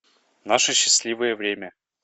наше счастливое время